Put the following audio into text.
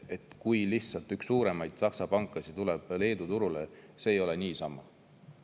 Kui üks suurimaid Saksa pankasid läheb Leedu turule, siis see ei ole lihtsalt niisama.